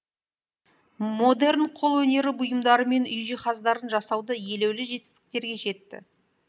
модерн қол өнері бұйымдары мен үй жиһаздарын жасауда елеулі жетістіктерге жетті